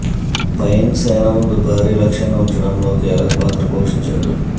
pine సేన ముందు భారీ లక్ష్యాన్ని ఉంచడంలో కీలక పాత్ర పోషించాడు